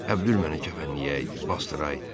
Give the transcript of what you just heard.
Əbdül məni kəfənləyəydi, basdıraydı.